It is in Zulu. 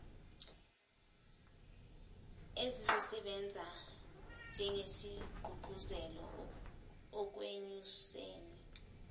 ezizosebenza njengesigqugquzelo ekwenyuseni